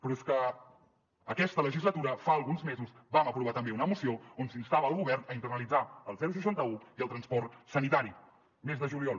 però és que aquesta legislatura fa alguns mesos vam aprovar també una moció on s’instava el govern a internalitzar el seixanta un i el transport sanitari mes de juliol